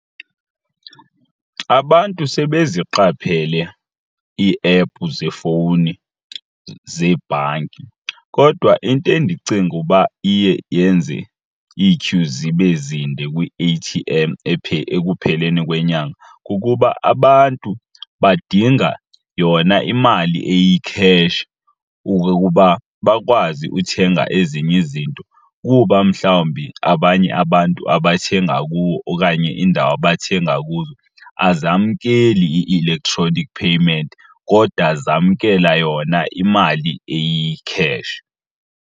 Abantu sebeziqaphele iiephu zefowuni zebhanki kodwa into endicinga uba iye yenze ityhu zibe zinde kwi-A_T_M ekupheleni kwenyanga kukuba abantu badinga yona imali eyikheshi ukuba bakwazi uthenga ezinye izinto kuba mhlawumbi abanye abantu abathenga kuwo okanye iindawo abathenga kuzo azamkeli i-electronic payment kodwa zamkela yona imali eyikheshi.